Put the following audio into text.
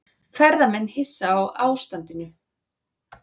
Ferðamenn hissa á ástandinu